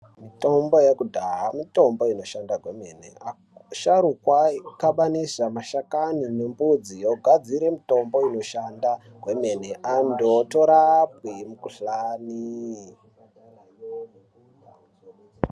Mitombo yekudhaa mitombo inoshanda kwemene asharukwa aikabaniza mashakani nemudzi ogadzira mitombo inoshande kwemene anthu otorapwe mukuhlanii.